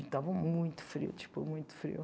Estava muito frio, tipo, muito frio.